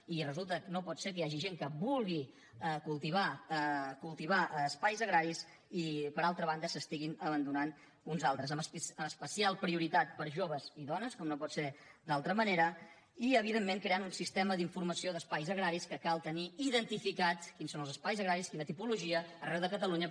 i resulta que no pot ser que hi hagi gent que vulgui cultivar espais agraris i per altra banda se n’estiguin abandonant uns altres amb especial prioritat per a joves i dones com no pot ser d’altra manera i evidentment creant un sistema d’informació d’espais agraris que cal tenir identificats quins són els espais agraris quina tipologia arreu de catalunya